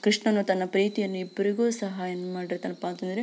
ಕೃಷ್ಣನು ತನ್ನ ಪ್ರೀತಿಯನ್ನು ಇಬ್ಬರಿಗೂ ಸಹಾಯ ಮಾಡಿರತಾನೆಪಾಅಂದ್ರೆ --